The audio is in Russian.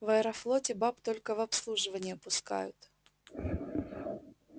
в аэрофлоте баб только в обслуживание пускают